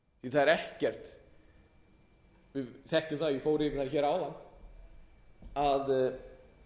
er ekkert við þekkjum það ég fór yfir það áðan að